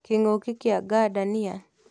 Kĩng'uki kĩa ngandania